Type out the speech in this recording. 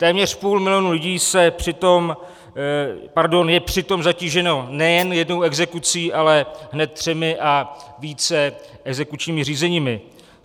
Téměř půl milionu lidí je přitom zatíženo nejen jednou exekucí, ale hned třemi a více exekučními řízeními.